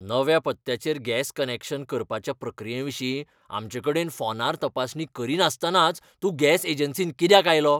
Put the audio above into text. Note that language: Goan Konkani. नव्या पत्त्याचेर गॅस कनॅक्शन करपाच्या प्रक्रियेविशीं आमचेकडेन फोनार तपासणी करीनासतनाच तूं गॅस एजन्सींत कित्याक आयलो?